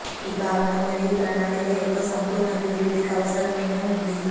ఈ భావన మరియు ప్రణాళిక యొక్క సంపూర్ణ అభివృద్ధికి అవసరమైన ఉంది